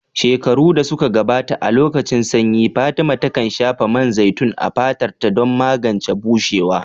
Shekaru da suka gabata, a lokacin sanyi, Fatima takan shafa man zaitun a fatarta don magance bushewa.